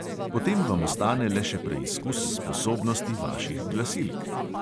Potem vam ostane le še preizkus sposobnosti vaših glasilk.